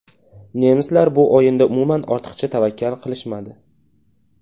Nemislar bu o‘yinda umuman ortiqcha tavakkal qilishmadi.